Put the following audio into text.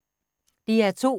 DR2